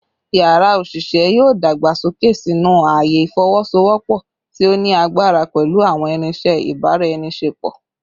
Yara oṣiṣẹ yoo dagbasoke sinu aaye ifowosowopo ti o ni agbara pẹlu awọn irinṣẹ ibaraenisepo